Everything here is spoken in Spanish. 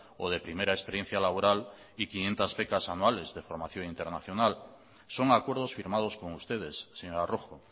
o de primera experiencia laboral y quinientos becas anuales de formación internacional son acuerdos firmados con ustedes señora rojo